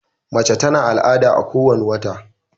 mace ta na al'ada a ko wani wata